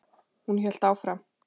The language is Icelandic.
Hún hélt áfram.